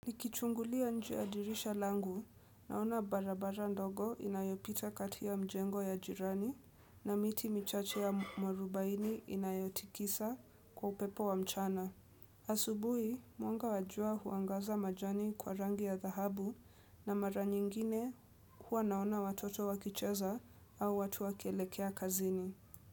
Nikichungulia nje ya dirisha langu naona barabara ndogo inayopita katika mjengo ya jirani na miti michache ya mwarubaini inayotikisa kwa upepo wa mchana. Asubuhi, mwanga wa jua huangaza majani kwa rangi ya thahabu na mara nyingine huwa naona watoto wakicheza au watu wakielekea kazini.